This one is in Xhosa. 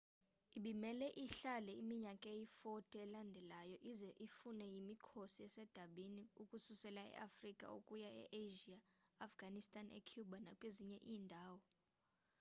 ibimele ihlale iminyaka eyi-40 elandelayo ize ifunwe yimikhosi esedabini ukususela eafrica ukuya easia eafghanistan ecuba nakwezinye iindawo